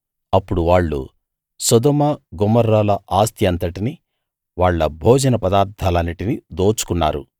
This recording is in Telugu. అప్పుడు వాళ్ళు సొదొమ గొమొర్రాల ఆస్తి అంతటినీ వాళ్ళ భోజన పదార్ధాలన్నిటినీ దోచుకున్నారు